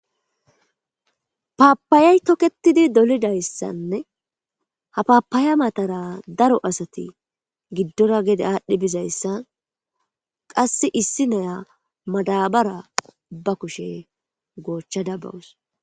Papaya toketidi dolizayisanne haa papaya matara daro asati giddora gede adhi bizayisa qase issi ayiyaadabara ba kushe gochada bawusi